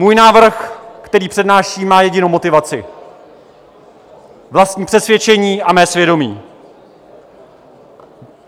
Můj návrh, který přednáším, má jedinou motivaci - vlastní přesvědčení a mé svědomí.